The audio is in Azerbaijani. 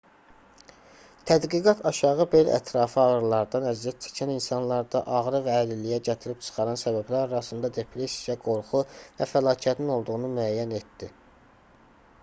tədqiqat aşağı bel ətrafı ağrılardan əziyyət çəkən insanlarda ağrı və əlilliyə gətirib çıxaran səbəblər arasında depressiya qorxu və fəlakətin olduğunu müəyyən etdi